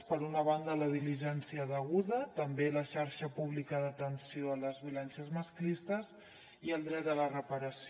per una banda la diligència deguda també la xarxa pública d’atenció a les violències masclistes i el dret a la reparació